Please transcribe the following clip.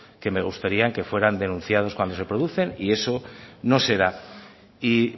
que me gustarían que fueran denunciados cuando se producen y eso no se da y